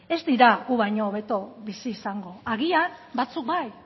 ez dira gu baino hobeto bizi izango agian batzuk bai